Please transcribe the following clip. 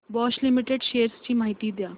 Bosch limited shares ची माहिती द्या